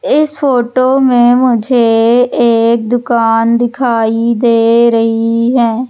इस फोटो में मुझे एक दुकान दिखाई दे रही है।